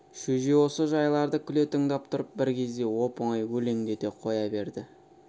шөже осы жайларды күле тыңдап тұрып бір кезде оп-оңай өлеңдете қоя берді